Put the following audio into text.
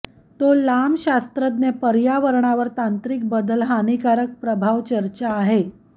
तो लांब शास्त्रज्ञ पर्यावरणावर तांत्रिक बदल हानीकारक प्रभाव चर्चा आहे